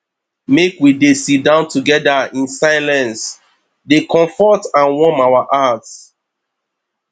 make we dey sidon together in silence dey comfort and warm our hearts